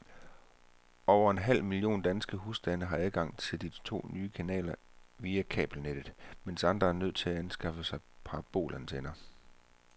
Over en halv million danske husstande får adgang til de to nye kanaler via kabelnettet, mens andre er nødt til at anskaffe sig parabolantenner.